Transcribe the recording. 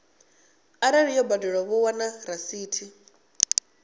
arali yo badelwa vho wana rasithi